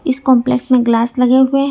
इस कॉम्प्लेक्स में ग्लास लगे हुए हैं।